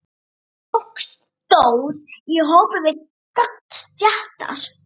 Fólk stóð í hópum við gangstéttar.